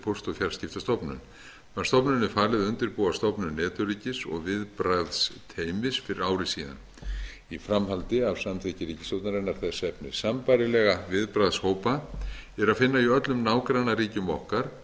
póst og fjarskiptastofnun var stofnuninni falið að undirbúa stofnun netöryggis og viðbragðsteymis fyrir ári síðan í framhaldi af samþykki ríkisstjórnarinnar þess efnis sambærilega viðbragðshópa er að finna í öllum nágrannaríkjum okkar